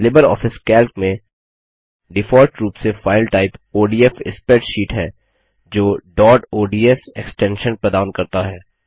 Libre office Calc में default रूप से फाइल टाइप ओडीएफ स्प्रेडशीट है जो डॉट ओडीएस एक्स्टेंशन प्रदान करता है